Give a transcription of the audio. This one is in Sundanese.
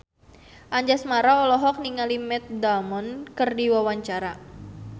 Anjasmara olohok ningali Matt Damon keur diwawancara